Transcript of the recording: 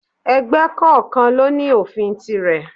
Ẹgbẹ́ kọ̀ọ̀kan ló ní òfin tirè.